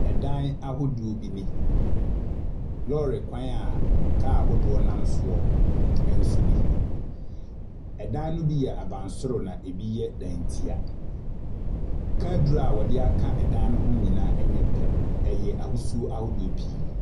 Ɛdan ahodoɔ bi ni. Lɔɔrekwan a car ahodoɔ nam soɔ nso ni. Ɛdan no bi yɛ abansoro na ebi dantea. Ka aduru a wɔde aka dan no nnyinaa nyɛ pɛ. Ɛyɛ ahosuo ahodoɔ pii.